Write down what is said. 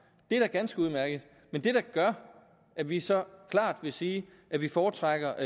det er da ganske udmærket men det der gør at vi så klart vil sige at vi foretrækker